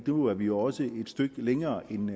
nu er vi også et stykke længere end